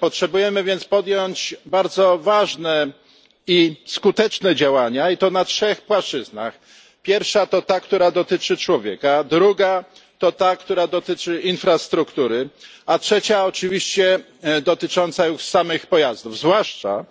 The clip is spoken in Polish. Powinniśmy więc podjąć bardzo ważne i skuteczne działania, i to na trzech płaszczyznach pierwsza to ta, która dotyczy człowieka, druga to ta, która dotyczy infrastruktury, a trzecia oczywiście dotycząca już samych pojazdów, zwłaszcza